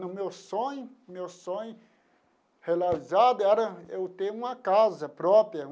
O meu sonho meu sonho realizado era eu ter uma casa própria.